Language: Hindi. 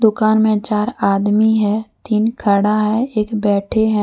दुकान में चार आदमी है तीन खड़ा है एक बैठे हैं।